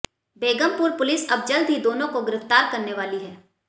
Begampur police अब जल्द ही दोनों को गिरफ्तार करने वाली है